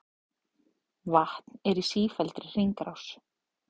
Vatn er í sífelldri hringrás.